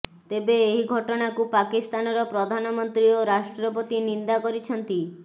ତେବେ ଏହି ଘଟଣାକୁ ପାକିସ୍ତାନର ପ୍ରଧାନମନ୍ତ୍ରୀ ଓ ରାଷ୍ଟ୍ରପତି ନିନ୍ଦା କରିଛନ୍ତି